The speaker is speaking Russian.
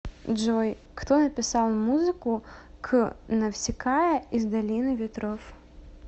джой кто написал музыку к навсикая из долины ветров